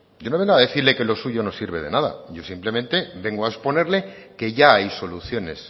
yo no vengo a decirle que lo suyo no sirve de nada yo simplemente vengo a exponerle que ya hay soluciones